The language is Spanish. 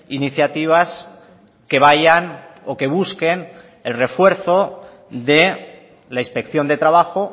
iniciativas que vayan o que busquen el refuerzo de la inspección de trabajo